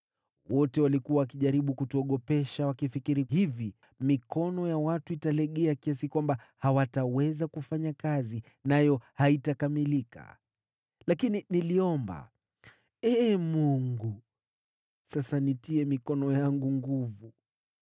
Wote walikuwa wakijaribu kutuogopesha, wakifikiri hivi: “Mikono ya watu italegea kiasi kwamba hawataweza kufanya kazi, nayo haitakamilika.” Lakini niliomba, “Ee Mungu, sasa nitie mikono yangu nguvu.”